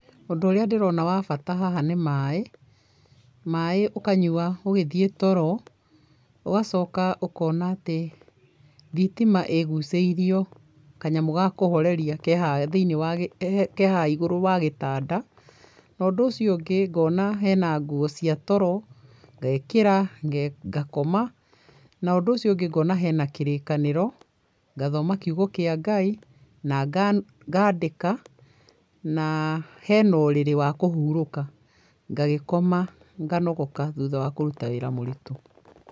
Ũndũ ũrĩa ndĩrona wa bata haha nĩ maĩ. Maĩ ũkanyua ũgĩthiĩ toro, ũgacoka ũkona atĩ thitima ĩgucĩirio kanyamũ ga kũhoreria ke harĩa thĩinĩ wa, ke haha thĩinĩ wa, ke haha igũrũ wa gĩtanda, na ũndũ ũcio ũngĩ ngona he na nguo cia toro, ngekĩra, ngakoma, na ũndũ ũcio ũngĩ ngona he na Kĩrĩkanĩro, ngathoma kiugo kĩa Ngai, na ngaandĩka, na he na ũrĩrĩ wa kũhurũka, ngagĩkoma, nganogoka thutha wa kũruta wĩra mũritũ.